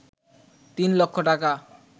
তিন লক্ষ টাকা